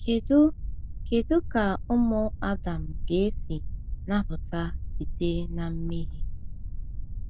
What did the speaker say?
Kedu Kedu ka ụmụ Adam ga-esi napụta site na mmehie?